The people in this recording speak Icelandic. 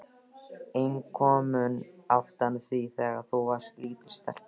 En komum aftur að því þegar þú varst lítil stelpa.